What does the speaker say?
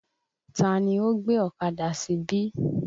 Tani ó gbé ọ̀kadà síbí?